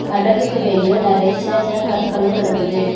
கடலுக்கு வெளியே நெறைய சின்ன சின்ன கற்களும் கடக்குது.